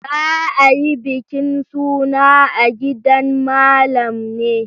Za a yi bikin suna a gidan Malam ne.